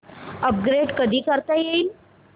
upgrade कधी करता येईल